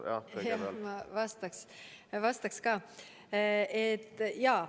Jah, ma vastaks ka.